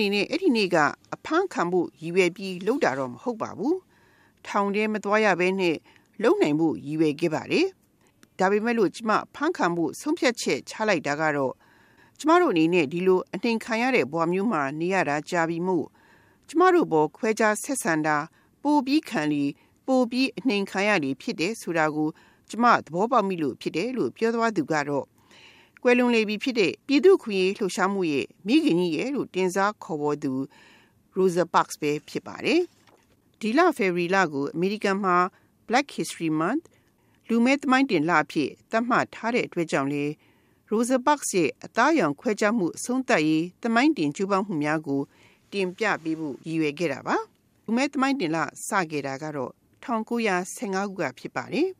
နေနဲ့ အဲ့ဒီနေ့က အဖမ်းခံဖို့ ရည်ရွယ်ပြီး လုပ်ခဲ့တာတော့ မဟုတ်ပါဘူး။ ထောင်ထဲမသွားရဘဲနဲ့ လုပ်နိုင်ဖို့ ရည်ရွယ်ခဲ့ပါတယ်။ ဒါပေမဲ့လို့ ကျမ အဖမ်းခံဖို့ ဆုံးဖြတ်ချက် ချလိုက်တာကတော့ ကျမတို့အနေနဲ့ ဒီလို အနှိမ်ခံရတဲ့ ဘဝမျိုးမှာ နေရာတာ ကြာခဲ့ပြီမို့ ကျမတို့အပေါ် ခွဲခြားဆက်ဆံတာ ပိုပြီးခံလေ၊ ပိုပြီး အနှိမ်ခံရလေ ဖြစ်တယ်ဆိုတာကို ကျမ သဘောပေါက်မိလို့ ဖြစ်တယ်" - လို့ ပြောသွားသူကတော့ ကွယ်လွန်လေပြီဖြစ်တဲ့ ပြည်သူ့အခွင့်အရေး လှုပ်ရှားမှုရဲ့ မိခင်ကြီးရယ်လို့ တင်စားခေါ်ဝေါ်သူ Rosa Parks ပဲ ဖြစ်ပါတယ်။ ဒီလ ဖေဖော်ဝါရီလကို အမေရိကန်မှာ Black History Month လူမည်းသမိုင်းတင်လအဖြစ် သတ်မှတ်ထားတဲ့အတွက်ကြောင့်လည်း Rosa Parks ရဲ့ အသားအရောင် ခွဲခြားမှု အဆုံးသတ်ရေး သမိုင်းတင်ကြိုးပမ်းမှုများကို တင်ပြပေးဖို့ ရည်ရွယ်ခဲ့တာပါ။ လူမည်းသမိုင်းတင်လ စခဲ့တာကတော့ ၁၉၁၅ ခုက ဖြစ်ပါတယ်။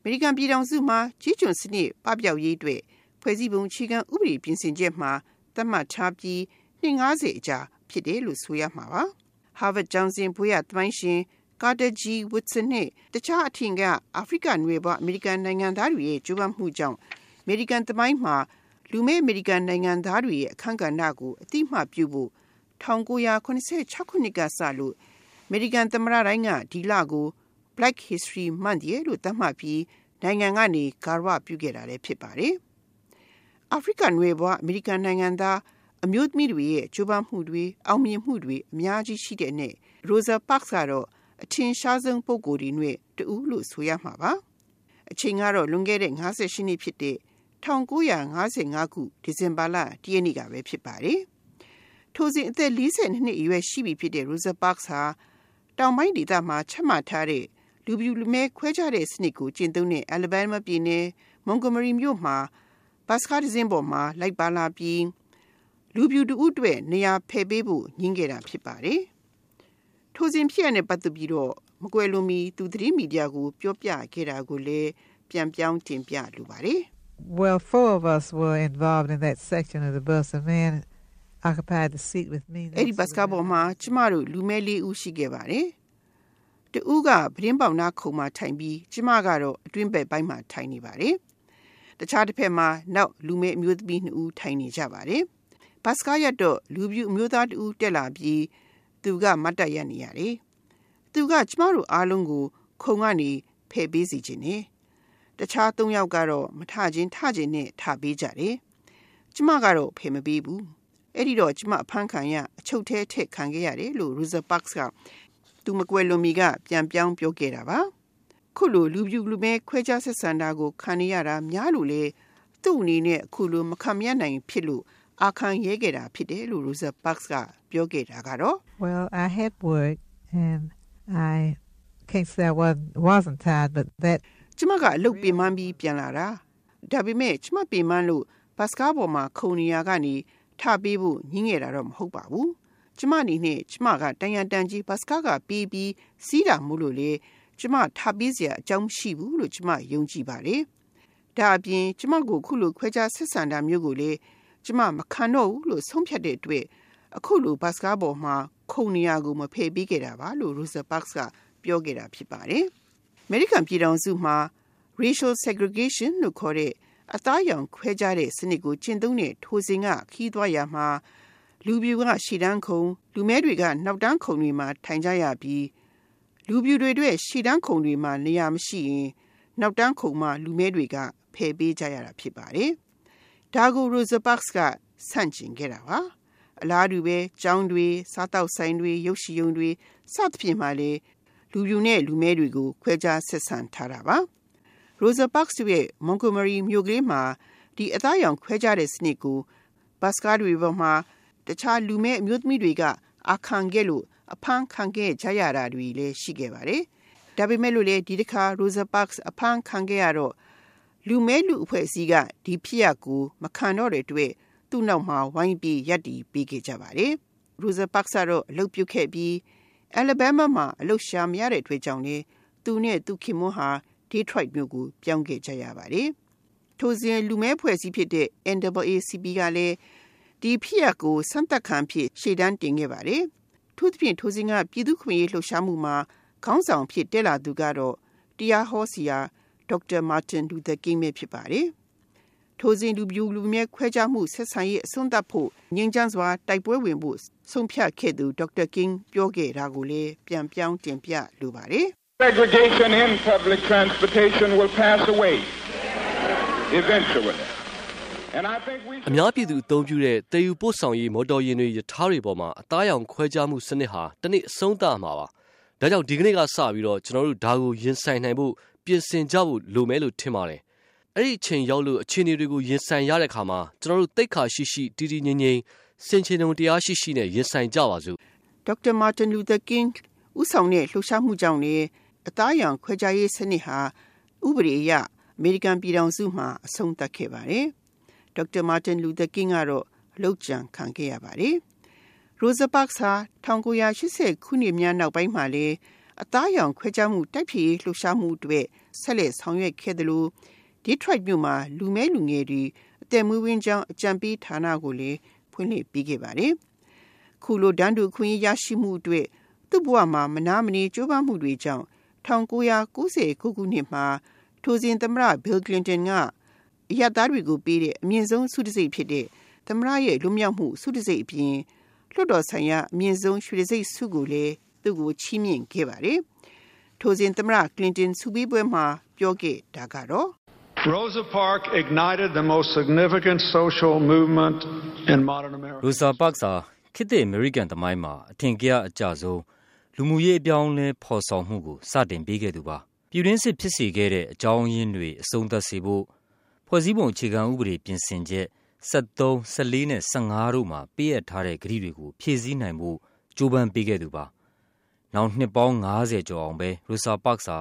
အမေရိကန် ပြည်ထောင်စုမှာ ကျေးကျွန်စနစ် ပပျောက်ရေးအတွက် ဖွဲ့စည်းပုံ အခြေခံ ဥပဒေ ပြင်ဆင်ချက်မှာ သတ်မှတ်ထားပြီး နှစ် ၅၀ အကြာမှာ ဖြစ်တယ်လို့ ဆိုရမှာပါ။ ဟားဗတ်ကျောင်းဆင်း ဘွဲ့ရသမိုင်းရှင် ကာတာဂျီ ဝွတ်ဆင် နဲ့ တခြား အထင်ကရ အာဖရိကနွယ်ဖွား အမေရိကန် နိုင်ငံသားတွေရဲ့ ကြိုးပမ်းမှုကြောင့် အမေရိကန်သမိုင်းမှာ လူမည်းအမေရိကန် နိုင်ငံသားတွေရဲ့ အခန်းကဏ္ဍကို အသိအမှတ်ပြုဖို့ ၁၉၇၆ ခုနှစ်ကစလို့ အမေရိကန် သမ္မတတိုင်းက ဒီလကို Black History Month ရယ်လို့ သတ်မှတ်ပြီး နိုင်ငံကနေ ဂါရဝပြုခဲ့တာလည်း ဖြစ်ပါတယ်။ အာဖရိကနွယ်ဖွား အမေရိကန်နိုင်ငံသား အမျိုးသမီးတွေရဲ့ ကြိုးပမ်းမှုတွေ၊ အောင်မြင်မှုတွေ အများကြီး ရှိတဲ့အနက် Rosa Parks ကတော့ အထင်ရှားဆုံး ပုဂ္ဂိုလ်တွေအနက် တဦးလို့ ဆိုရမှာပါ။ အချိန်ကတော့ ၁၉၅၅ ခု ဒီဇင်ဘာလ ၁ ရက်နေ့ကပဲ ဖြစ်ပါတယ်။ ထိုစဉ် အသက် ၄၂ နှစ်အရွယ် ရှိပြီဖြစ်တဲ့ Rosa Parks ဟာ တောင်ပိုင်းဒေသမှာ ချမှတ်ထားတဲ့ လူဖြူလူမည်း ခွဲခြားတဲ့စနစ်ကို ကျင့်သုံးတဲ့ အယ်လ်ဘားမားပြည်နယ်၊ မောင်ဂိုမာရီမြို့မှာ ဘတ်စ်ကားတစင်းပေါ် လိုက်ပါလာပြီး လူဖြူတဦးအတွက် နေရာဖယ်ပေးဖို့ ငြင်းခဲ့တာဖြစ်ပါတယ်။ ထိုစဉ်ဖြစ်ရပ်နဲ့ ပတ်သက်ပြီးတော့ မကွယ်လွန်မီ သူ သတင်းမီဒီယာကို ပြောပြခဲ့တာကိုလည်း ပြန်ပြောင်း တင်ပြလိုပါတယ်။ “အဲ့ဒီဘတ်စ်ကားပေါ်မှာ ကျမတို့ လူမည်း ၄ ဦး ရှိခဲ့ပါတယ်။ တဦးက ပြတင်းပေါက်နားခုံမှာထိုင်ပြီး၊ ကျမကတော့ အတွင်းဘက်ပိုင်းမှာ ထိုင်နေပါတယ်။ တခြားတဘက်မှာ နောက်ထပ် လူမည်းအမျိုးသမီး ၂ ဦး ထိုင်နေကြပါတယ်။ ဘတ်စ်ကားရပ်တော့ လူဖြူအမျိုးသားတဦး တက်လာပြီး၊ သူက မတ်တပ်ရပ်နေရတယ်။ သူက ကျမတို့အားလုံးကို ခုံကနေ ဖယ်ပေးစေချင်တယ်။ တခြား ၃ ယောက်ကတော့ မထချင် ထချင်နဲ့ ထပေးကြတယ်။ ကျမကတော့ ဖယ်မပေးဘူး။ အဲ့ဒီတော့ ကျမ အဖမ်းခံရ၊ အချုပ်ထဲမှာ အထည့်ခံခဲ့ရတယ်” - လို့ Rosa Parks က သူမကွယ်လွန်မီက ပြန်ပြောင်း ပြောပြခဲ့တာပါ။ အခုလို လူဖြူလူမည်း ခွဲခြားဆက်ဆံတာကို ခံနေရတာ များလို့လည်း သူ့အနေနဲ့ အခုလို မခံမရပ်နိုင်ဖြစ်လို့ အာခံရဲခဲ့တာဖြစ်တယ်လို့ Rosa Parks ပြောခဲ့တာကတော့ - “ကျမက အလုပ်ပင်ပန်းပြီး ပြန်လာတာ။ ဒါပေမဲ့ ကျမပင်ပန်းလို့ ဘတ်စ်ကားပေါ်မှာ ခုံနေရာကနေ ထ ပေးဖို့ ငြင်းခဲ့တာတော့ မဟုတ်ပါဘူး။ ကျမအနေနဲ့ ကျမက တန်ရာတန်ကြေး ဘတ်စ်ကားခပေးပြီး စီးတာမို့လို့လည်း ကျမ ထပေးစရာ အကြောင်းမရှိဘူးလို့ ကျမ ယုံကြည်ပါတယ်။ ဒါ့အပြင် ကျမကို အခုလို ခွဲခြားဆက်ဆံတာမျိုးကိုလည်း ကျမ မခံတော့ဘူးလို့ ဆုံးဖြတ်တဲ့အတွက် အခုလို ဘတ်စ်ကားပေါ်မှာ ခုံနေရာကို မဖယ်ပေးခဲ့တာပါ” - လို့ Rosa Parks က ပြောခဲ့တာဖြစ်ပါတယ်။ အမေရိကန်ပြည်ထောင်စုမှာ အသားအရောင် ခွဲခြားတဲ့စနစ်ကို ကျင့်သုံးတဲ့ ထိုစဉ်က ခရီးသွားရာမှာ လူဖြူက ရှေ့တန်းခုံ၊ လူမည်းတွေက နောက်တန်းခုံတွေမှာ ထိုင်ကြရပြီး၊ လူဖြူတွေအတွက် ရှေ့တန်းခုံတွေမှာ နေရာမရှိရင် နောက်တန်းခုံမှာ လူမည်းတွေက ဖယ်ပေးကြရတာဖြစ်ပါတယ်။ ဒါကို Rosa Parks က ဆန့်ကျင်ခဲ့တာပါ။ အလားတူပဲ ကျောင်းတွေ၊ စားသောက်ဆိုင်တွေ၊ ရုပ်ရှင်ရုံတွေ စသဖြင့်မှာလည်း လူဖြူနဲ့ လူမည်းတွေကို ခွဲခြားဆက်ဆံထားတာပါ။ Rosa Parks တို့ရဲ့ မောင်ဂိုမာရီမြို့လေးမှာ ဒီအသားအရောင် ခွဲခြားတဲ့စနစ်ကို ဘတ်စ်ကားတွေပေါ်မှာ တခြား လူမည်းအမျိုးသမီးတွေက အာခံခဲ့လို့ အဖမ်းခံခဲ့ကြရတာတွေလည်း ရှိခဲ့ပါတယ်။ ဒါပေမဲ့လို့လည်း ဒီတခါ Rosa Parks အဖမ်းခံခဲ့ရတော့ လူမည်းလူ့အဖွဲ့အစည်းက ဒီဖြစ်ရပ်ကို မခံတော့တဲ့အတွက် သူ့နောက်မှာ ဝိုင်းပြီး ရပ်တည်ပေးခဲ့ကြပါတယ်။ Rosa Parks ကတော့ အလုပ်ပြုတ်ခဲ့ပြီး၊ အယ်လ်ဘားမားပြည်နယ်မှာ အလုပ်ရှာမရတော့တဲ့ အတွက်ကြောင့်လည်း သူနဲ့ သူ့ခင်ပွန်းဟာ ဒေးထရိုက်မြို့ကို ပြောင်းခဲ့ကြရပါတယ်။ ထိုစဉ် လူမည်းအဖွဲ့အစည်းဖြစ်တဲ့ NAACP ကလည်း ဒီဖြစ်ရပ်ကို စမ်းသပ်ခံအဖြစ် ရှေ့တန်းတင်ခဲ့ပါတယ်။ အထူးသဖြင့် ထိုစဉ်က ပြည်သူ့အခွင့်အရေး လှုပ်ရှားမှုမှာ ခေါင်းဆောင်အဖြစ် တက်လာသူကတော့ တရားဟောဆရာ ဒေါက်တာ မာတင် လူသာကင်းပဲ ဖြစ်ပါတယ်။ ထိုစဉ် လူဖြူလူမည်း ခွဲခြားဆက်ဆံမှု အဆုံးသတ်ဖို့၊ ငြိမ်းချမ်းစွာ တိုက်ပွဲဝင်ဖို့၊ ဆုံးဖြတ်ခဲ့သူ ဒေါက်တာ ကင်း ပြောခဲ့တာကိုလည်း ပြန်ပြောင်း တင်ပြလိုပါတယ်။ “အများပြည်သူ အသုံးပြုတဲ့ သယ်ယူပို့ဆောင်ရေး မော်တော်ယာဉ်တွေ၊ ရထားတွေပေါ်မှာ အသားအရောင် ခွဲခြားမှုစနစ်ဟာ တနေ့ အဆုံးသတ်ရမှာပါ။ ဒါကြောင့် ဒီကနေ့ကစပြီးတော့ ကျနော်တို့ ဒါကို ရင်ဆိုင်နိုင်ဖို့ ပြင်ဆင်ကြဖို့ လိုမယ်လို့ ထင်ပါတယ်။ အဲ့ဒီအချိန်ရောက်လို့ အခြေအနေတွေကို ရင်ဆိုင်ရတဲ့အခါမှာ ကျနော်တို့ သိက္ခာရှိရှိ တည်တည်ငြိမ်ငြိမ် ဆင်ခြင်တုံ တရားရှိရှိနဲ့ ရင်ဆိုင်ကြပါစို့” ဒေါက်တာ မာတင်လူသာကင်း ဦးဆောင်တဲ့ လှုပ်ရှားမှုကြောင့်လည်း အသားအရောင် ခွဲခြားရေးစနစ်ဟာ ဥပဒေအရ အမေရိကန် ပြည်ထောင်စုမှာ အဆုံးသတ်ခဲ့ပါတယ်။ ဒေါက်တာ မာတင် လူသာကင်းကတော့ လုပ်ကြံခံခဲ့ရပါတယ်။ Rosa Parks ဟာ ၁၉၈၀ ခုနှစ်များ နောက်ပိုင်းမှာလည်း အသားအရောင် ခွဲခြားမှု တိုက်ဖျက်ရေး လှုပ်ရှားမှုအတွက် ဆက်လက် ဆောင်ရွက်ခဲ့သလို၊ ဒေးထရိုက်မြို့မှာ လူမည်းလူငယ်တွေ အသက်မွေးဝမ်းကျောင်း အကြံပေးဌာနကိုလည်း ဖွင့်လှစ်ပေးခဲ့ပါတယ်။ အခုလို တန်းတူအခွင့်အရေး ရရှိမှုအတွက် သူ့ဘဝမှာ မနားမနေ ကြိုးပမ်းမှုတွေကြောင့် ၁၉၉၉ ခုနှစ်မှာ ထိုစဉ် သမ္မတ ဘေလ် ကလင်တန်က အရပ်သားတွေကိုပေးတဲ့ အမြင့်ဆုံး ဆုတံဆိပ်ဖြစ်တဲ့ သမ္မတရဲ့ လွတ်မြောက်မှု ဆုတံဆိပ်အပြင် လွှတ်တော်ဆိုင်ရာ အမြင့်ဆုံး ရွှေတံဆိပ်ဆုကိုလည်း သူ့ကို ချီးမြှင့်ခဲ့ပါတယ်။ ထိုစဉ် သမ္မတ ကလင်တန် ဆုပေးပွဲမှာ ပြောခဲ့တာကတော့ - “Rosa Parks ဟာ ခေတ်သစ် အမေရိကန် သမိုင်းမှာ အထင်ကရအကျဆုံး လူမှုရေး အပြောင်းအလဲ ဖော်ဆောင်မှုကို စတင်ပေးခဲ့သူပါ။ ပြည်တွင်းစစ် ဖြစ်စေခဲ့တဲ့ အကြောင်းရင်းတွေ အဆုံးသတ်စေဖို့ ဖွဲ့စည်းပုံ အခြေခံဥပဒေ ပြင်ဆင်ချက် ၁၃၊ ၁၄ နဲ့ ၁၅ တို့မှာ ပေးအပ်ထားတဲ့ ကတိတွေကို ဖြည့်ဆည်းနိုင်ဖို့ ကြိုးပမ်းပေးခဲ့သူပါ။ နောင်နှစ်ပေါင်း ၅၀ ကျော်အောင်ပဲ Rosa Parks ဟာ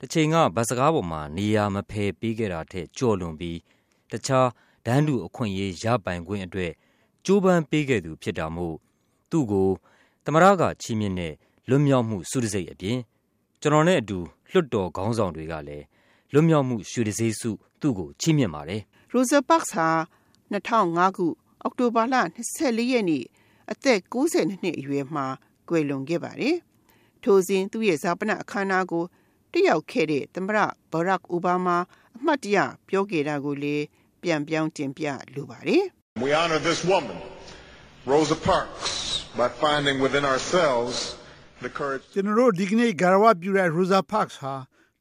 တချိန်က ဘတ်စ်ကားပေါ်မှာ နေရာမဖယ်ပေးခဲ့တာထက် ကျော်လွန်ပြီး တခြား တန်းတူအခွင့်အရေး ရပိုင်ခွင့်အတွက် ကြိုးပမ်းပေးခဲ့သူ ဖြစ်တာမို့ သူ့ကို သမ္မတက ချီးမြှင့်တဲ့ လွတ်မြောက်မှု ဆုတံဆိပ်အပြင် ကျနော်နဲ့အတူ လွှတ်တော်ခေါင်းဆောင်တွေကလည်း လွတ်မြောက်မှု ရွှေတံဆိပ်ဆု သူ့ကို ချီးမြှင့်ပါတယ်။” Rosa Parks ဟာ ၂၀၀၅ ခု အောက်တိုဘာလ ၂၄ ရက်နေ့ အသက် ၉၂ နှစ်အရွယ်မှာ ကွယ်လွန်ခဲ့ပါတယ်။ ထိုစဉ် သူ့ရဲ့ဈာပနအခမ်းအနားကို တက်ရောက်ခဲ့တဲ့ သမ္မတ ဘရက်ခ် အိုဘားမား အမှတ်တရ ပြောခဲ့တာကိုလည်း ပြန်ပြောင်း တင်ပြလိုပါတယ်။ “ကျနော်တို့ ဒီကနေ့ ဂါရဝပြုတဲ့ အမျိုးသမီးကြီးဟာ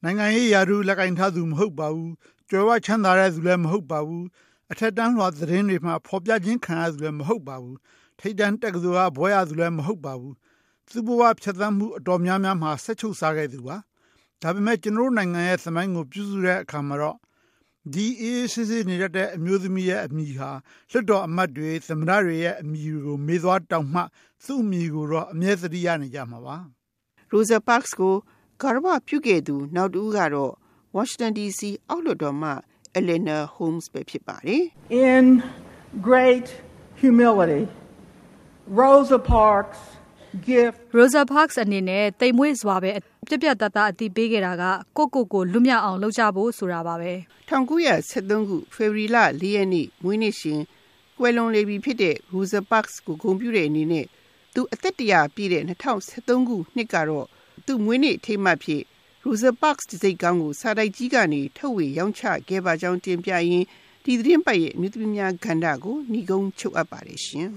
နိုင်ငံရေးရာထူး လက်ကိုင်ထားသူ မဟုတ်ပါဘူး။ ကြွယ်ဝချမ်းသာသူလည်း မဟုတ်ပါဘူး။ အထက်တန်းလွှာ သတင်းတွေမှာ ဖော်ပြခံရသူလည်း မဟုတ်ပါဘူး။ ထိပ်တန်းတက္ကသိုလ်တခုကနေ ဘွဲ့ရခဲ့သူလည်း မဟုတ်ပါဘူး။ သူ့ဘ၀ အများပိုင်းမှာ သူဟာ စက်ချုပ်စားခဲ့သူပါ။ ဒါပေမဲ့ ကျနော်တို့နိုင်ငံရဲ့ သမိုင်းကို ပြုစုတဲ့အခါမှာတော့ ဒီအေးအေးဆေးဆေး နေတတ်တဲ့ အမျိုးသမီးရဲ့ အမည်ဟာ လွှတ်တော်အမတ်တွေ၊ သမ္မတတွေရဲ့ အမည်တွေ မေ့သွားတောင်မှ သူ့အမည်ကိုတော့ အမြဲ သတိရနေကြမှာပါ။” Rosa Parks ကို ဂါရဝပြုခဲ့သူ နောက်တဦးကတော့ ဝါရှင်တန်ဒီစီ အောက်လွှတ်တော်မှ အယ်လ်လင်နာ ဟုမ်းစ်ပဲ ဖြစ်ပါတယ်။ “Rosa Parks အနေနဲ့ သိမ်မွေ့စွာပဲ ပြတ်ပြတ်သားသား အသိပေးခဲ့တာက ကိုယ့်ကိုယ်ကို လွတ်မြောက်အောင် လုပ်ကြဖို့ ဆိုတာပါပဲ။” ၁၉၁၃ ခု ဖေဖော်ဝါရီလ ၄ ရက်နေ့ မွေးနေ့ရှင် ကွယ်လွန်သွားပြီဖြစ်တဲ့ Rosa Parks ကို ဂုဏ်ပြုတဲ့အနေနဲ့ သူ့အသက် ၁၀၀ ပြည့်တဲ့ ၂၀၁၃ခုနှစ်တုန်းကတော့ သူ့မွေးနေ့ အထိမ်းအမှတ်အဖြစ် Rosa Parks တံဆိပ်ခေါင်းကို စာတိုက်ကြီးကနေ ထုတ်ဝေရောင်းချခဲ့ပါကြောင်း တင်ပြရင်း ဒီသီတင်းပတ် အမျိုးသမီးကဏ္ဍကို နိဂုံးချုပ်အပ်ပါတယ်ရှင်